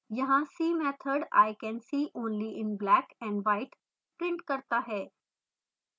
यहाँ see method i can see only in black and white prints करता है